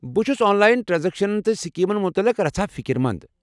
بہٕ چھُس آنلاین ٹرٛانزیکشنن تہٕ سکیمن متعلق رژھا فکرمنٛز۔